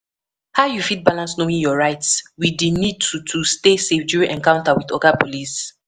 How you fit balance knowing your rights with di need to to stay safe during encounter with oga police